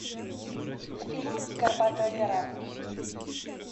фильм горбатая гора